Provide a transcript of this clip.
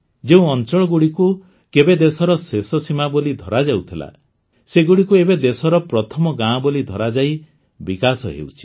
ଯେଉଁ ଅଞ୍ଚଳଗୁଡ଼ିକୁ କେବେ ଦେଶର ଶେଷସୀମା ବୋଲି ଧରାଯାଉଥିଲା ସେଗୁଡ଼ିକୁ ଏବେ ଦେଶର ପ୍ରଥମ ଗାଁ ବୋଲି ଧରାଯାଇ ବିକାଶ ହେଉଛି